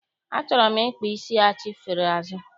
Achọrọ m ịkpa isi achifere azụ.